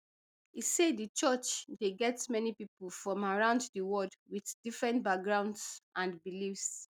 e say di church dey get many pipo from around di world wit different backgrounds and beliefs